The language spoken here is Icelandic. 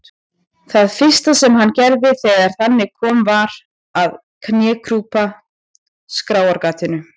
Það fyrsta sem hann gerði þegar þangað kom var að knékrjúpa skráargatinu.